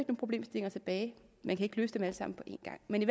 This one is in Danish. problemstillinger tilbage man kan ikke løse dem alt sammen på en gang men